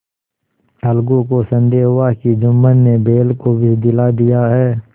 अलगू को संदेह हुआ कि जुम्मन ने बैल को विष दिला दिया है